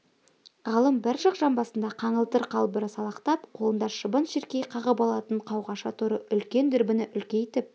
ғалым бір жақ жамбасында қаңылтыр қалбыры салақтап қолында шыбын-шіркей қағып алатын қауғаша торы үлкен дүрбіні үлкейтіп